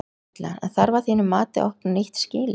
Erla: En þarf að þínu mati að opna nýtt skýli?